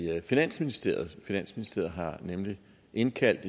finansministeriet finansministeriet har nemlig indkaldt